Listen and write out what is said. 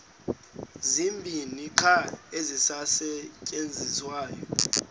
zibini qha ezisasetyenziswayo